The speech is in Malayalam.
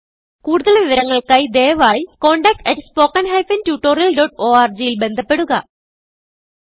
കുടുതൽ വിവരങ്ങൾക്കായി ദയവായിcontactspoken tutorialorg ൽ ബന്ധപ്പെടുക